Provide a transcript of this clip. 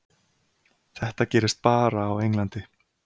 Þetta gerist bara á Englandi.